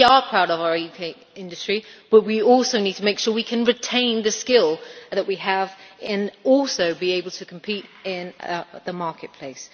We are proud of our UK industry, but we also need to make sure we can retain the skills that we have and also be able to compete in the marketplace.